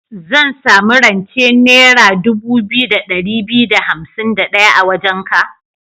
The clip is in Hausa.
Zan sami rance naira dubu biyu da ɗari biyu da hansim da ɗaya a wajenka?